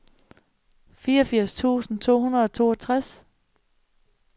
fireogfirs tusind to hundrede og toogtres